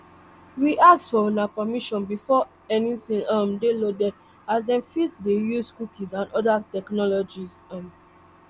we ask for una permission before anytin um dey loaded as dem fit dey use cookies and oda technologies um